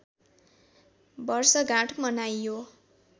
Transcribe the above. वर्षगाँठ मनाइयो